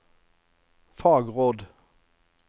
fagråd